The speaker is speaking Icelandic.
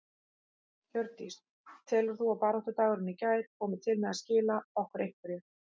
Hjördís: Telur þú að baráttudagurinn í gær komi til með að skila okkur einhverju?